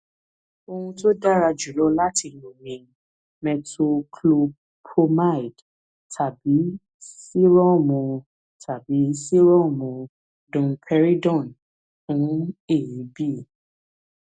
ohun tó dára jùlọ láti lò ni metoclopromide tàbí sírọọmù tàbí sírọọmù domperidone fún èébì